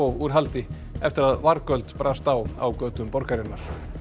úr haldi eftir að vargöld brast á á götum borgarinnar